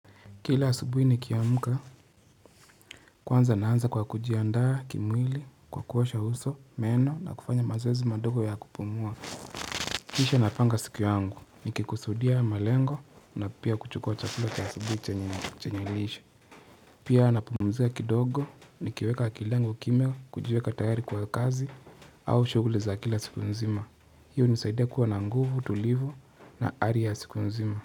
Kila asubuhi nikiamka, kwanza naanza kwa kujiandaa, kimwili, kwa kuosha uso, meno na kufanya mazoezi madogo ya kupumua. Kisha napanga siku yangu nikikusudia malengo na pia kuchukua chakula cha asubuhi chenye lishe. Pia napumzika kidogo nikiweka kilengo kimya, kujiweka tayari kwa kazi au shughuli za kila siku nzima. Hii unisaidia kuwa na nguvu, tulivu na ari ya siku nzima.